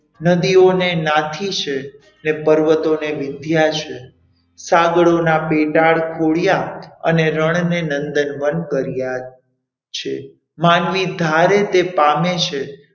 નદીઓને નાથી છે, પર્વતોને વિંધ્યા છે, સાગરોના પેટાળ ખોળ્યા અને રણને નંદનવન કર્યા છે માનવી ધારે તે પામે છે.